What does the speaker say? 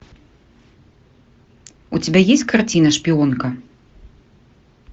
у тебя есть картина шпионка